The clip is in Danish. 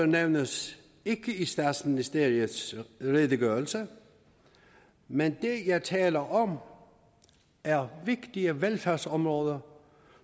nævnes ikke i statsministeriets redegørelse men det jeg taler om er vigtige velfærdsområder